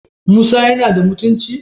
Musa yana da mutunci?